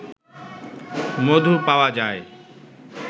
মধু পাওয়া যায়